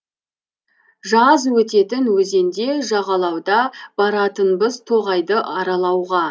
жаз өтетін өзенде жағалауда баратынбыз тоғайды аралауға